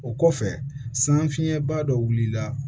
O kɔfɛ san fiɲɛba dɔ wulila